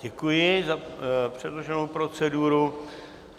Děkuji za předloženou proceduru.